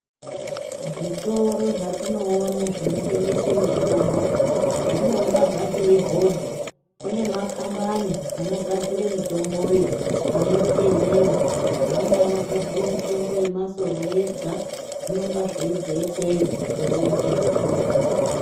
Zvitoro zvatinoone zvino tengese mitombo zvinonga zvatoi hodha kune makambani anogadzire mitomboyo anozi yemera amweni ano gadzire mitombo yema soro yega zvinonga zveibva ikweyo zveiuya kuzvitoro.